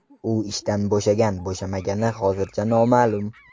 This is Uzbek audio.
U ishdan bo‘shagan-bo‘shamagani hozircha noma’lum.